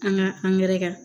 An ka angɛrɛ kan